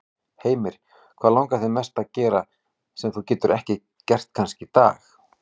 Heimir: Hvað langar þig mest að gera, sem þú getur ekki gert kannski í dag?